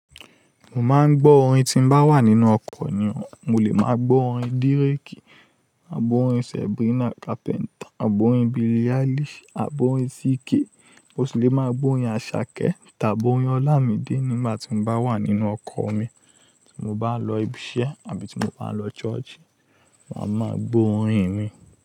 Mo máa ń gbọ́ orin tí mo bá wà nínú ọkọ̀ nìyẹn. Mo lè máa gbọ́ orin D'réké àbọ́ orin Sabrina Carpenter àbọ́ orin Billie Eilish àbọ́ orin CKay. Mo sì lè máa gbọ́ orin Asake tàbí orin Olamide nígbà tí mo bá wà nínú ọkọ̀ mi. Tí mo bá ń lọ ibi iṣẹ́ àbí tí mo bá ń lọ ṣọ́ọ̀ṣì, màá máa gbọ́ orin mi.